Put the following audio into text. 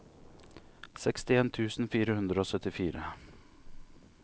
sekstien tusen fire hundre og syttifire